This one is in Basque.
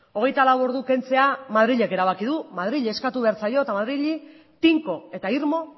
hogeita lau ordu kentzea madrilek erabaki du madrili eskatu behar zaio eta madrili tinko eta irmo